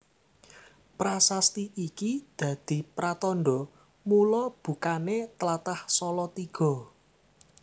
Prasasti iki dadi pratandha mula bukané tlatah Salatiga